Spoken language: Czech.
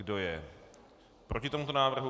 Kdo je proti tomuto návrhu?